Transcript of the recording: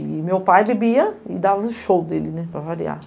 E meu pai bebia e dava o show dele, né, para variar.